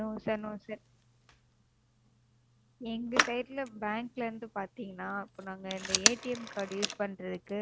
No sir no sir எங்க Side ல Bank ல இருந்து பாத்தீங்கன்னா இப்ப நாங்க Card use பண்றதுக்கு